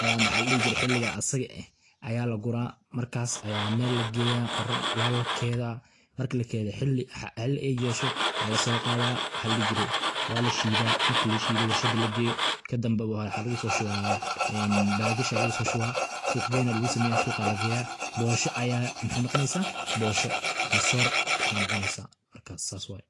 aya maxa ladihi jire xiliga asaga aya lagura markas aya mel lageeya waa lakeeda marki lakeedo xili ay yeesho aa lasoqada maxaa ladihi jire waa lashiida marki lashiido warshada lageeyo kadamba waxaa lagusoshuba en bagasha lagusoshuba suq geyn aya lagusameya suqa lageeya boosha aya mxaey noqoneysa boosho ama soor ayay noqoneysa marka sas waye.